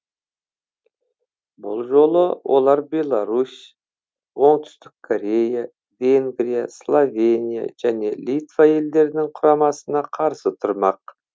бұл жолы олар беларусь оңтүстік корея венгрия словения және литва елдерінің құрамасына қарсы тұрмақ